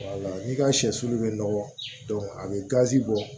n'i ka sɛsulu bɛ nɔgɔ a bɛ gazi bɔ